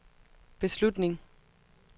beslutning